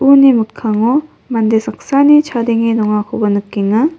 uni mikkango mande saksani chadenge dongakoba nikenga.